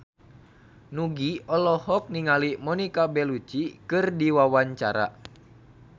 Nugie olohok ningali Monica Belluci keur diwawancara